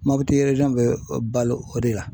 Mɔputi bɛ balo o de la.